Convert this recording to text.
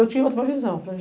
Eu tinha outra visão.